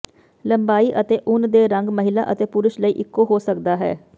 ਲੰਬਾਈ ਅਤੇ ਉੱਨ ਦੇ ਰੰਗ ਮਹਿਲਾ ਅਤੇ ਪੁਰਸ਼ ਲਈ ਇੱਕੋ ਹੋ ਸਕਦਾ ਹੈ